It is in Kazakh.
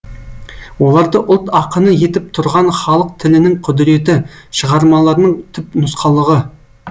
оларды ұлт ақыны етіп тұрған халық тілінің құдіреті шығармаларының түпнұсқалығы